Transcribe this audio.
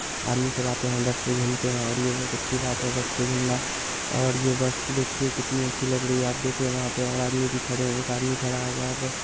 आदमी सब आते हैं। बस पे घूमते हैं । और ये बहोत अच्छी बात है बस पे घूमना। और ये बस देखिए कितनी अच्छी लग रही है। आप देख रहे हैं वहां पे और आदमी भी खड़े हैं। एक आदमी खड़ा हुआ है बस ---